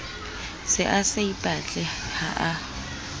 se a saipatle ha a